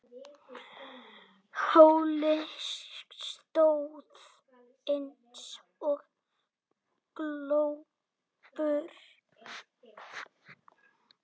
Halli stóð eins og glópur.